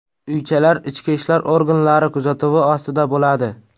Uychalar ichki ishlar organlari kuzatuvi ostida bo‘ladi.